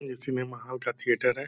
ये cinema hall का theatre है।